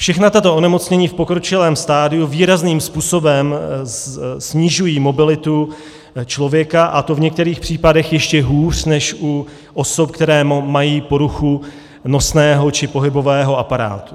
Všechna tato onemocnění v pokročilém stadiu výrazným způsobem snižují mobilitu člověka, a to v některých případech ještě hůř než u osob, které mají poruchu nosného či pohybového aparátu.